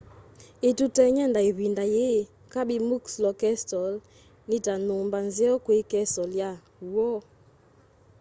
ituteny'e nda ivinda yii kirby muxloe castle ni ta nyumba nzeo kwi castle ya w'o